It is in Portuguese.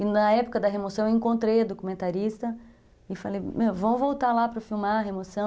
E na época da remoção eu encontrei a documentarista e falei, vamos voltar lá para filmar a remoção.